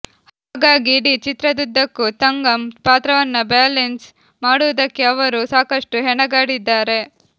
ಹಾಗಾಗಿ ಇಡೀ ಚಿತ್ರದುದ್ದಕ್ಕೂ ತಂಗಂ ಪಾತ್ರವನ್ನ ಬ್ಯಾಲೆನ್ಸ್ ಮಾಡುವುದಕ್ಕೆ ಅವರು ಸಾಕಷ್ಟು ಹೆಣಗಾಡಿದ್ದಾರೆ